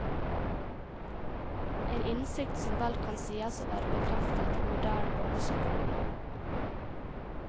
En innsikt som vel kan sies å være bekreftet av moderne barnepsykologi.